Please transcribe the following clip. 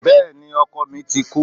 Béèni ọkọ mi ti kú